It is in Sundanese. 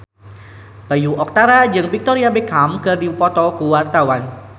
Bayu Octara jeung Victoria Beckham keur dipoto ku wartawan